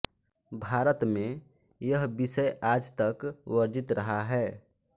भारत में यह बिषय आज तक वर्जित रहा है